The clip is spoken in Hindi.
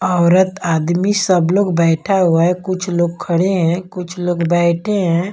औरत आदमी सब लोग बैठा हुआ है कुछ लोग खड़े हैं कुछ लोग बैठे हैं।